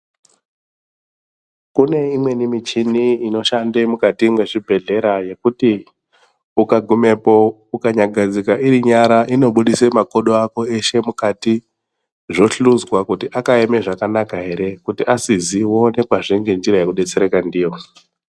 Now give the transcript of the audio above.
Kuneyimweni michini inoshande mukati mwezvibhedhlera yekuti ukagumepo, ukanyagadzika irinyara inobudise makodo ako eshe mukati. Zvohluzwa kuti akayeme zvakanaka here kuti asiziwo nekwazvenge njira yekudetsereka ndiyo.